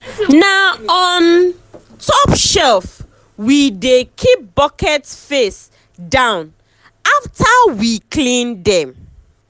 na on um top shelf um we dey keep buckets face um down afta we clean dem.